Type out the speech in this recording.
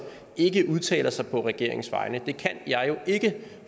ikke udtaler sig på regeringens vegne det kan jeg jo ikke